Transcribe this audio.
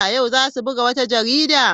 Yau za su buga wata jarida?